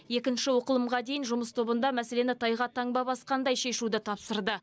екінші оқылымға дейін жұмыс тобында мәселені тайға таңба басқандай шешуді тапсырды